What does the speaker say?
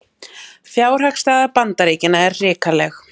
Fjárhagsstaða Bandaríkjanna er hrikaleg